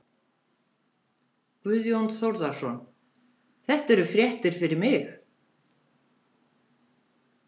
Guðjón Þórðarson: Þetta eru fréttir fyrir mig.